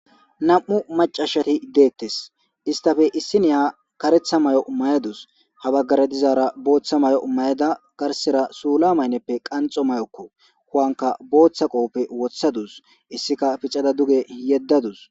nam7u macashati deettes istafe issi niya karetha may7o mayadus habaggare dizaara booththa may7o mayada garsera suula maynneppe qanxo mayokko huwanka booththa qooppe wothadus issika picada duge yeddadus